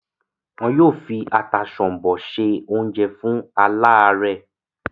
wọ́n yóò fi “ata sọ̀m̀bọ̀" se oúnjẹ fún aláàárẹ́.